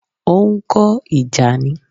Ó ń kọ́ ìjà ni